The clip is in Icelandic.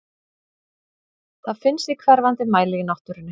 Það finnst í hverfandi mæli í náttúrunni.